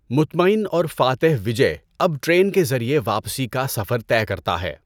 مطمئن اور فاتح وجے اب ٹرین کے ذریعے واپسی کا سفر طے کرتا ہے۔